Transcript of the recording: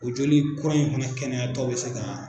O joli kura in fana kɛnɛyatɔ bɛ se ka